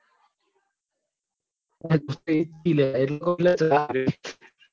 હ